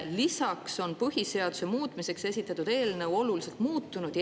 Lisaks on põhiseaduse muutmiseks esitatud eelnõu oluliselt muutunud.